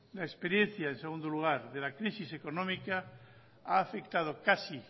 la experiencia en segundo lugar de la crisis económica ha afectado casi